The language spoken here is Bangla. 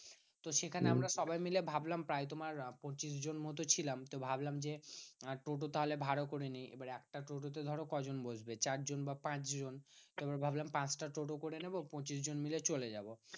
তো সেখানে আমরা সবাই মিলে ভাবলাম প্রায় তোমার পঁচিশ জন মতো ছিলাম। তো ভাবলাম যে টোটো তাহলে ভাড়া করে নিই। বার একটা টোটো তে ধরো কজন বসবে? চারজন বা পাঁচজন। এবার ভাবলাম পাঁচটা টোটো করে নেবো পঁচিশ জন মিলে চলে যাবো।